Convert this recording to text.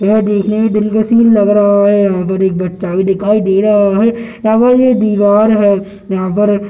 यह देखने में दिन का सीन लग रहा है यहां पर एक बच्चा भी दिखाई दे रहा है यहां पर जो दीवार है यहां पर --